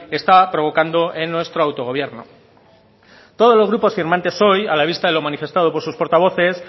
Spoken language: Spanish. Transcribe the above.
está provocando en nuestro autogobierno todos los grupos firmantes hoy a la vista de lo manifestado por sus portavoces